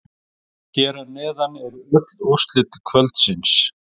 Hér að neðan eru öll úrslit kvöldsins.